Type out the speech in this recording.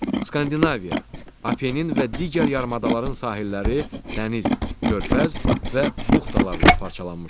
Skandinaviya, Apenin və digər yarımadaların sahilləri dəniz, körfəz və buxtalarla parçalanmışdır.